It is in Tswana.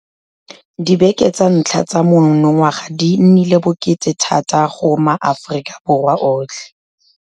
Dibeke tsa ntlha tsa monongwaga di nnile bokete thata go maAforika Borwa otlhe.